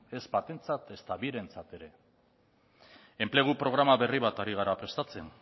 ez batentzat ezta birentzat ere ez enplegu programa berri bat ari gara